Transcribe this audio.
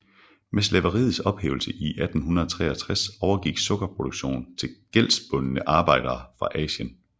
Med slaveriets ophævelse i 1863 overgik sukkerproduktionen til gældbundne arbejdere fra Asien